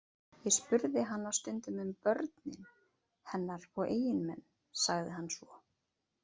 Ég spurði hana stundum um börnin hennar og eiginmenn, sagði hann svo.